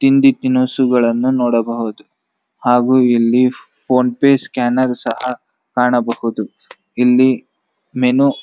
ತಿಂಡಿ ತಿನಿಸುಗಳನ್ನು ನೋಡಬಹುದು ಹಾಗೆ ಇಲ್ಲಿ ಫೋನ್ ಪೆ ಸ್ಕ್ಯಾನರ್ ಸಹ ಕಾಣಬಹುದು ಇಲ್ಲಿ ಮೆನು --